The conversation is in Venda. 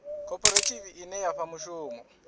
khophorethivi ine ya fha mushumo